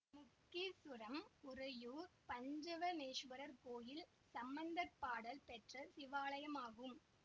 முக்கீச்சுரம் உறையூர் பஞ்சவர்ணேஸ்வரர் கோயில் சம்பந்தர் பாடல் பெற்ற சிவாலயமாகும்